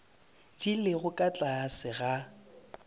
di lego ka tlase ga